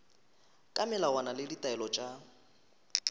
ka melawana le ditaelo tša